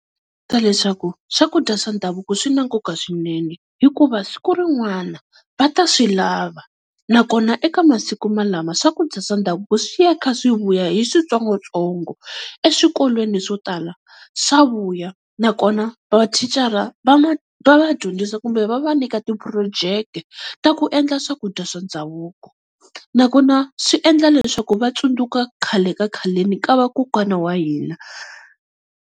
Leswaku swakudya swa ndhavuko swi na nkoka swinene, hikuva siku rin'wana va ta swi lava nakona eka masiku malama swakudya swa ndhavuko swi ya kha swi vuya hi switsongotsongo. Eswikolweni swo tala swa vuya, nakona va thicara va va dyondzisa kumbe va va nyika ti-project-e ta ku endla swakudya swa ndhavuko. Nakona swi endla leswaku va tsundzuka khale ka khaleni ka vakokwana wa hina.